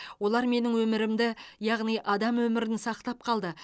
олар менің өмірімді яғни адам өмірін сақтап қалды